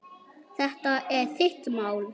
Þetta er þitt mál.